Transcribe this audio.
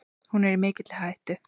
Hún er í mikilli hættu.